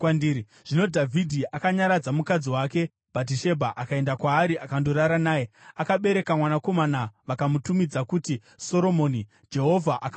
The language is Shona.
Zvino Dhavhidhi akanyaradza mukadzi wake Bhatishebha, akaenda kwaari akandorara naye. Akabereka mwanakomana, vakamutumidza kuti Soromoni. Jehovha akamuda;